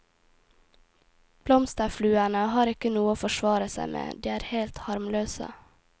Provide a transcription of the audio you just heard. Blomsterfluene har ikke noe å forsvare seg med, de er helt harmløse.